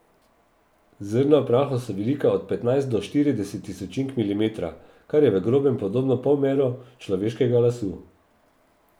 Zrna v prahu so velika od petnajst do štirideset tisočink milimetra, kar je v grobem podobno polmeru človeškega lasu.